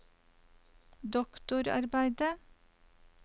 doktorarbeidet